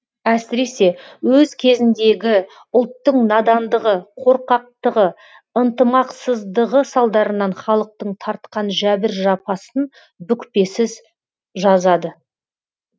әсіресе өз кезіндегі ұлттың надандығы қорқақтығы ынтымақсыздығы салдарынан халықтың тартқан жәбір жапасын бүкпесіз жазады